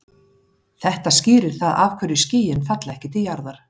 Þetta skýrir það af hverju skýin falla ekki til jarðar.